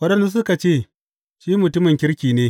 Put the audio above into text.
Waɗansu suka ce, Shi mutumin kirki ne.